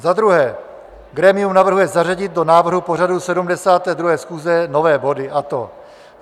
Za druhé grémium navrhuje zařadit do návrhu pořadu 72. schůze nové body a to: